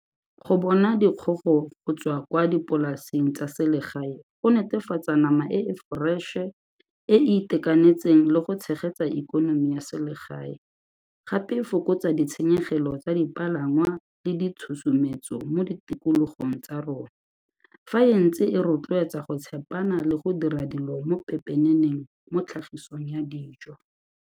Go bona dikgogo go tswa kwa dipolaseng tsa selegae go netefatsa nama e e foreše, e e itekanetseng le go tshegetsa ikonomi ya selegae. Gape e fokotsa ditshenyegelo tsa dipalangwa le ditshosometso mo ditikologong tsa rona, fa e ntse e rotloetsa go tshepana le go dira dilo mo pepeneneng mo tlhagisong ya dijo.